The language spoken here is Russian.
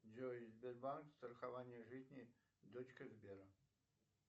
джой сбербанк страхование жизни дочка сбера